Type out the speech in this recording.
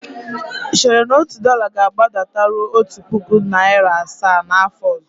Ị chere na otu dọla ga-agbadataruo otu puku naịra asaa n'afọ ọzọ?